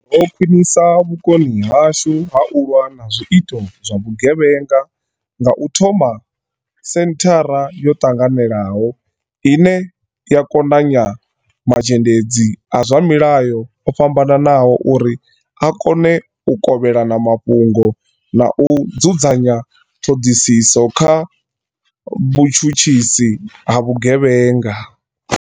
Ro khwiṋisa vhukoni hashu ha u lwa na zwi ito zwa vhu gevhenga nga u thoma senthara yo ṱanganelaho, ine ya konanya mazhendedzi a zwa mulayo o fhambananaho uri a kone u kovhelana mafhungo na u dzudzanya ṱhoḓisiso kha vhu tshutshisi ha vhu gevhenga.